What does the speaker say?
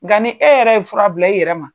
Nga ni e yɛrɛ ye fura bila i yɛrɛ ma.